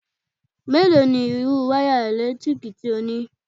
Mélòó ni irú wáyà eèlétíkì tí ó ní?